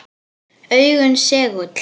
Augun segull.